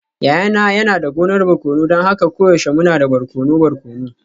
Yayana yana da gonar barkono don haka koyaushe muna da barkono barkono.